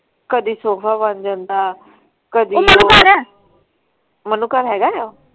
ਕਦੀ ਸੋਫਾ ਬਣ ਜਾਂਦਾ ਉਹ ਮੰਨੂ ਘਰ, ਮੰਨੂ ਘਰ ਹੈਗਾ ਆ?